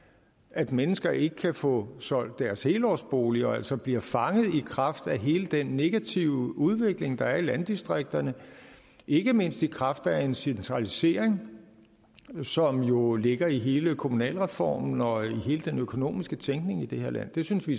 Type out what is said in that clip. at mennesker ikke kan få solgt deres helårsbolig og altså bliver fanget i kraft af hele den negative udvikling der er i landdistrikterne ikke mindst i kraft af en centralisering som jo ligger i hele kommunalreformen og i hele den økonomiske tænkning i det her land det synes vi